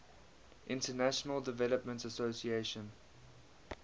international development association